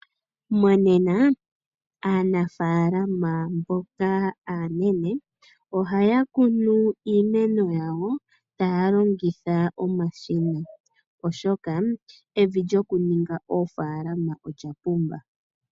Monena aanafalama mboka aanene ohaya kunu iimeno yawo taya longitha omashina oshoka evi lyokuninga oofalama olya pumba.